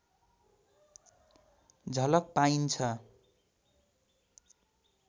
झलक पाइन्छ